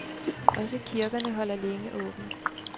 Også kirkerne holder længe åbent.